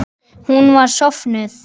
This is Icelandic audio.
Hún var sofnuð.